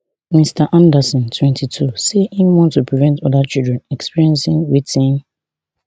mr anderson twenty-two say im want to prevent oda children experiencing wetin